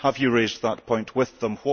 Have you raised that point with them?